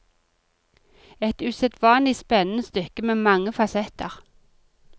Et usedvanlig spennende stykke med mange fasetter.